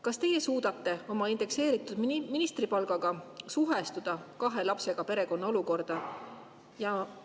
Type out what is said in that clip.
Kas teie suudate oma indekseeritud ministripalgaga suhestuda kahe lapsega perekonna olukorraga?